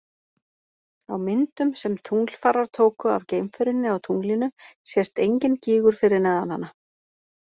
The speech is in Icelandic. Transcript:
Á myndum sem tunglfarar tóku af geimferjunni á tunglinu sést enginn gígur fyrir neðan hana.